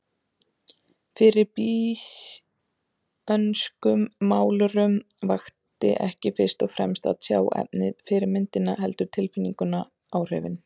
Fyrir býsönskum málurum vakti ekki fyrst og fremst að tjá efnið, fyrirmyndina, heldur tilfinninguna, áhrifin.